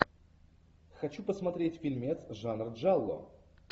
хочу посмотреть фильмец жанр джалло